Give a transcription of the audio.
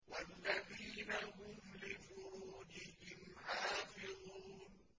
وَالَّذِينَ هُمْ لِفُرُوجِهِمْ حَافِظُونَ